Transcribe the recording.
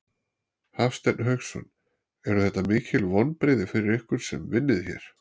Hafsteinn Hauksson: Eru þetta mikil vonbrigði fyrir ykkur sem vinnið hér?